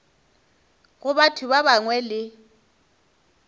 go batho ba bangwe le